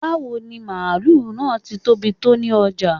Bawo ni maálù naá tí tóbi tó ni ojá?